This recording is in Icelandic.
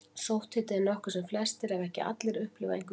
Sótthiti er nokkuð sem flestir, ef ekki allir, upplifa einhvern tíma.